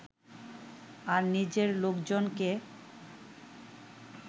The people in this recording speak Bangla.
আর নিজের লোকজনকে